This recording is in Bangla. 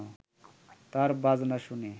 তার বাজনা শুনে